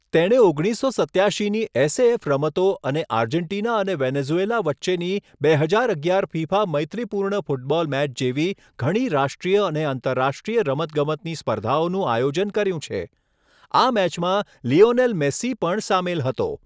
તેણે ઓગણીસસો સત્યાશીની એસએએફ રમતો અને આર્જેન્ટિના અને વેનેઝુએલા વચ્ચેની બે હજાર અગિયાર ફિફા મૈત્રીપૂર્ણ ફૂટબોલ મેચ જેવી ઘણી રાષ્ટ્રીય અને આંતરરાષ્ટ્રીય રમતગમતની સ્પર્ધાઓનું આયોજન કર્યું છે. આ મેચમાં લિયોનેલ મેસ્સી પણ સામેલ હતો.